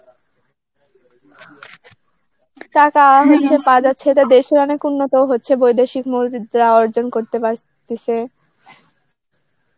টাকা হইছে কাজ হচ্ছে, দেশের অনেক উন্নত হচ্ছে বৈদেশিক মুদ্রা অর্জন করতে পারতেছে